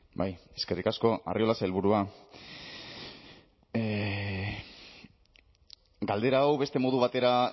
bai eskerrik asko arriola sailburua galdera hau beste modu batera